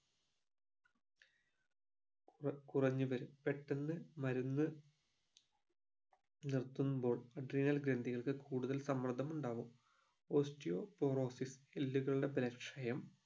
കുറഞ്ഞു വരും പെട്ടന്ന് മരുന്ന് നിർത്തുമ്പോൾ adrenal ഗ്രന്ധികൾക്ക് കൂടുതൽ സമ്മർദ്ദം ഉണ്ടാവും പോസ്റ്റിയോപോറോഫിസ് എല്ലുകളുടെ ബലക്ഷയം